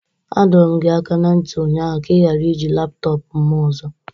A dọrọ m gị aka na ntị ụnyaahụ ka ị ghara iji laptọọpụ m ọzọ!